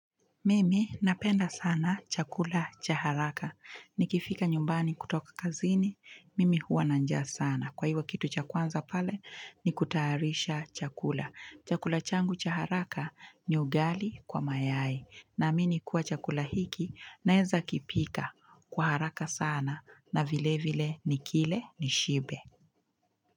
Mimi napenda sana chakula chaharaka. Nikifika nyumbani kutoka kazini, mimi huwa nanjja sana. Kwa hivo kitu cha kwanza pale, nikutayarisha chakula. Chakula changu chaharaka ni ugali kwa mayai. Na mini kuwa chakula hiki, naeza kipika kwa haraka sana na vile vile nikile nishibe.